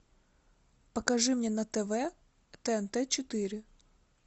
покажи мне на тв тнт четыре